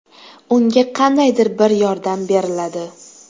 Unga qandaydir bir yordam beriladi.